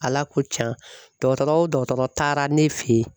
Ala ko tiɲa dɔgɔtɔrɔ o dɔgɔtɔrɔ taara ne fe yen